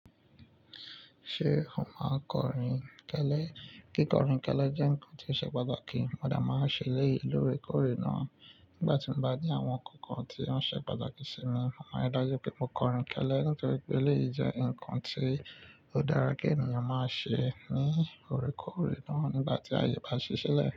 Ṣé ó máa kọrin tẹ́lẹ́? Kí kọrin tẹ́lẹ́ jẹ́ ǹkan tí ṣe patà kí? Mo de máa ń ṣe eléyìí lóore kóòrè náà. Nígbà tí mo bá ní àwọn kọ̀kan tí wọ́n ṣe patàkí sì mi, mo máa ri dájú pé mo kọrin tẹ́lẹ́ nítorí pé elèyí jẹ́ ǹkan tí ó dára kí ènìyàn máa ṣe ní óòrè kóòrè náà nígbà tí aye bá ṣí sílẹ̀